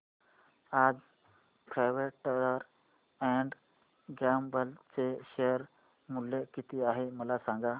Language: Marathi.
आज प्रॉक्टर अँड गॅम्बल चे शेअर मूल्य किती आहे मला सांगा